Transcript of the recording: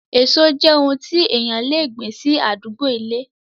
Èso jẹ́ oun tí èèyàn le gbìn sí àdúgbó ilé